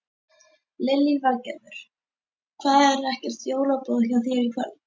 Lillý Valgerður: Það er ekkert jólaboð hjá þér í kvöld?